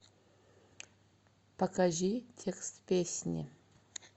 покажи текст песни